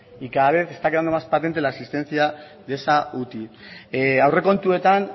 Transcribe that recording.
y cada vez está quedando más patente de la existencia de esa uti aurrekontuetan